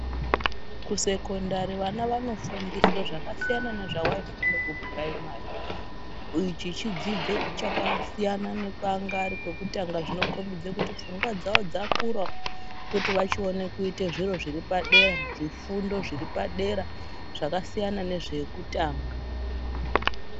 Kusekondari vana vanofundiswa zvakasiyana nezvavaifunde kupuraimari ichi chidzidzo chakasiyana nekwaanga ari kwekutanga zvinokombidze kuti pfungwa dzawo dzakurawo kuti vachione kuite zviro zviri padera zvifundo zviri padera zvakasiyana nezvekutanga.